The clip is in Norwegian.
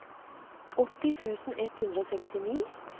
åtti tusen ett hundre og sekstini